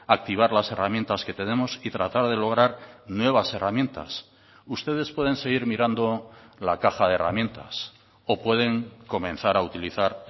activar las herramientas que tenemos y tratar de lograr nuevas herramientas ustedes pueden seguir mirando la caja de herramientas o pueden comenzar a utilizar